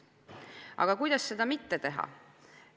Aga kuidas seda mitte teha?